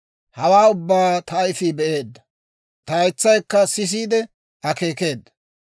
«Hawaa ubbaa ta ayifii be'eedda; ta haytsaykka sisiide akeekeedda.